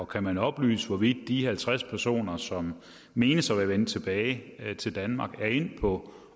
kan oplyse hvorvidt de halvtreds personer som menes at være vendt tilbage til danmark er endt på